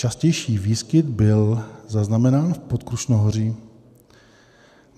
Častější výskyt byl zaznamenán v Podkrušnohoří.